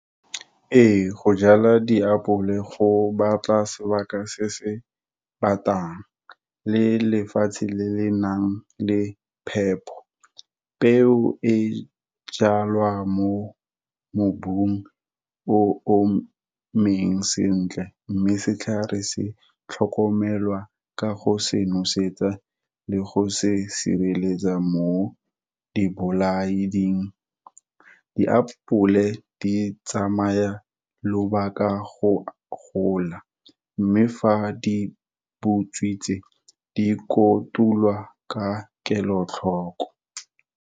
Ee go jala diapole go batla sebaka se se batang, le lefatshe le le nang le phepo, peo e jalwa mo mobung o o emeng sentle. Mme setlhare se tlhokomelwa ka go se nosetsa le go se sireletsa mo dibolaing. Diapole di tsamaya lobaka go gola, mme fa di butswitse, di kotulwa ka kelotlhoko.